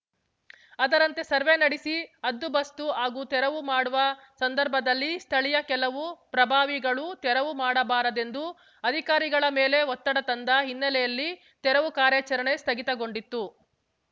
ಅದರಂತೆ ಸರ್ವೆ ನಡೆಸಿ ಹದ್ದುಬಸ್ತು ಹಾಗೂ ತೆರವು ಮಾಡುವ ಸಂದರ್ಭದಲ್ಲಿ ಸ್ಥಳೀಯ ಕೆಲವು ಪ್ರಭಾವಿಗಳು ತೆರವು ಮಾಡಬಾರದೆಂದು ಅಧಿಕಾರಿಗಳ ಮೇಲೆ ಒತ್ತಡ ತಂದ ಹಿನ್ನೆಲೆಯಲ್ಲಿ ತೆರವು ಕಾರ್ಯಾಚರಣೆ ಸ್ಥಗಿತಗೊಂಡಿತ್ತು